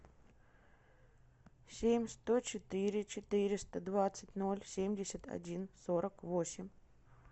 семь сто четыре четыреста двадцать ноль семьдесят один сорок восемь